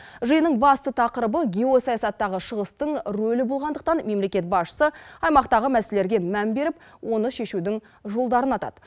жиынның басты тақырыбы геосаясаттағы шығыстың рөлі болғандықтан мемлекет басшысы аймақтағы мәселелерге мән беріп оны шешудің жолдарын атады